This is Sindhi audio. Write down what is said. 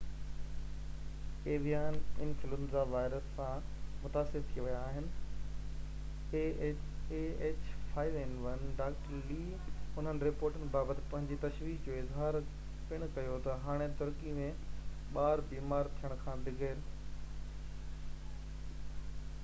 ڊاڪٽر لي انهن رپورٽن بابت پنهنجي تشويش جو اظهار پڻ ڪيو ته هاڻي ترڪي ۾ ٻار بيمار ٿيڻ کان بغير ah5n1 ايويان انفلوئينزا وائرس سان متاثر ٿي ويا آهن